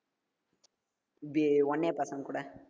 இது oneA பசங்க கூட